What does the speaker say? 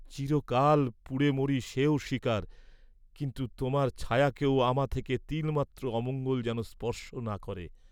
চিরকাল পুড়ে মরি সেও স্বীকার কিন্তু তোমার ছায়াকেও আমা থেকে তিলমাত্র অমঙ্গল যেন স্পর্শ না করে।